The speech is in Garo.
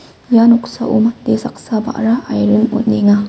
ia noksao saksa ba·ra airin on·enga.